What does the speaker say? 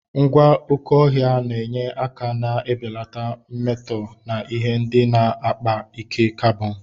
Ngwa oké ọhịa na-enye aka na-ebelata mmetọ na ihe ndị na-akpa ike carbon.